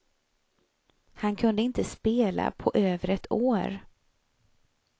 Han kunde inte spela på över ett år.